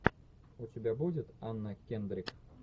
у тебя будет анна кендрик